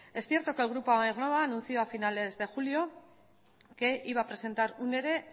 es cierto que el grupo aernnova anunció a finales de julio que iba a presentar un ere